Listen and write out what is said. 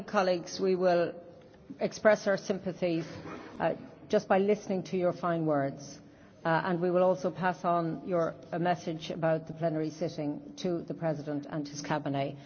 Colleagues, I think we will express our sympathies just by listening to your fine words, and we will also pass on your message about the plenary sitting to the President and his Cabinet.